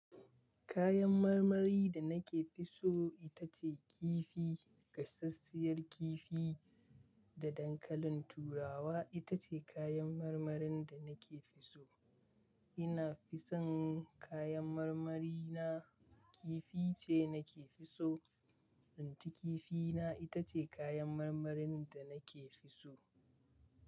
Kayan marmari da nake fi so ita ce kifi. Gasasshiyar kifi da dankalin turawa ita ce kayan marmarin da nake fi so. Ina fi son kayan marmari na kifi ce nake fi so. Inci kifi na ita ce kayan marmarin da nake fi so.